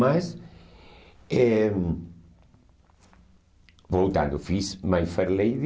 Mas eh, voltando, fiz My Fair Lady.